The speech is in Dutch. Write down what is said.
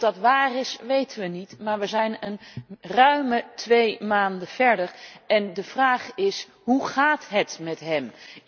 Of dat waar is weten we niet, maar we zijn ruim twee maanden verder en de vraag is hoe gaat het met hem?